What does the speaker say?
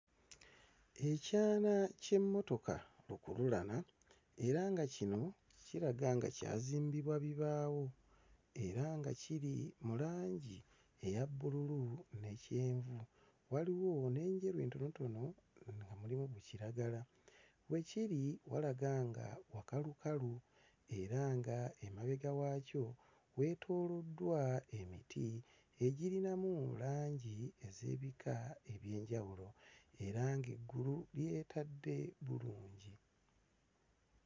Ekyana ky'emmotoka lukululana era nga kino kiraga nga kyazimbibwa bibaawo era nga kiri mu langi eya bbululu ne kyenvu. Waliwo n'enjeru entonotono nga mulimu kiragala. We kiri walaga nga wakalukalu era nga emabega waakyo weetooloddwa emiti egirinamu langi ez'ebika eby'enjawulo era ng'eggulu lyetadde bulungi.